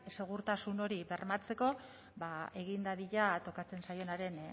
segurtasun hori bermatzeko ba egin dadila tokatzen zaienaren